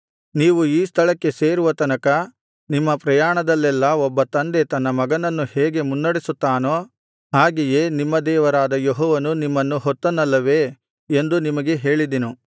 ನೀವು ಈ ಸ್ಥಳಕ್ಕೆ ಸೇರುವ ತನಕ ನಿಮ್ಮ ಪ್ರಯಾಣದಲ್ಲೆಲ್ಲಾ ಒಬ್ಬ ತಂದೆ ತನ್ನ ಮಗನನ್ನು ಹೇಗೆ ಮುನ್ನಡೆಸುತ್ತಾನೋ ಹಾಗೆಯೇ ನಿಮ್ಮ ದೇವರಾದ ಯೆಹೋವನು ನಿಮ್ಮನ್ನು ಹೊತ್ತನಲ್ಲವೇ ಎಂದು ನಿಮಗೆ ಹೇಳಿದೆನು